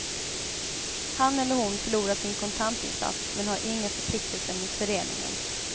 Han eller hon förlorar sin kontantinsats men har inga förpliktelser mot föreningen.